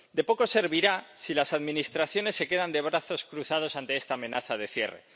De poco servirá si las administraciones se quedan de brazos cruzados ante esta amenaza de cierre.